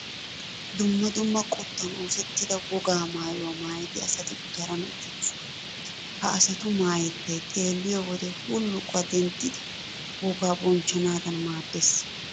Dumma dumma qottan oosettida wogaa maayuwaa maayida asati gutaran uttidoosona. Ha asatu maayettay xeelliyo wode huluuquwaa denttettidi wogaa bonchchanaadan maaddees.